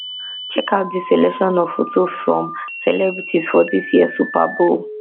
checkout dis selection of photo from celebrities for dis year super bowl